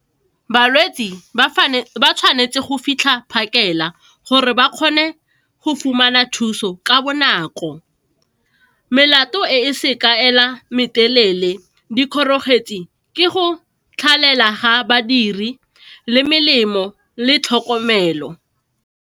Balwetsi ba tshwanetse go fitlha phakela gore ba kgone go fumana thuso ka bonako. Melato e seng kaela mare telele dikgoreletsi ke go tlhagelela ha badiri le melemo le tlhokomelo.